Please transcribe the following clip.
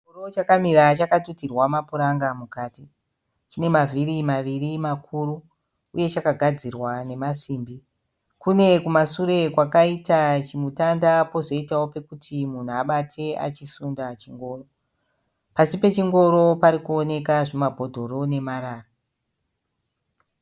Chingoro chakamira chakatutirwa mapuranga mukati. Chine mavhiri maviri makuru uye chakagadzirwa nemasimbi. Kune kumasure kwakaita chimutanda pozoitawo pekuti munhu abate achisunda chingoro. Pasi pechingoro parikuowoneka zvimabhodhoro nemarara.